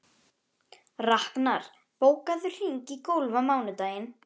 Raknar, bókaðu hring í golf á mánudaginn.